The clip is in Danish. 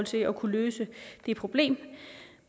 til at kunne løse det problem